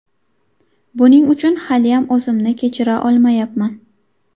Buning uchun haliyam o‘zimni kechira olmayapman.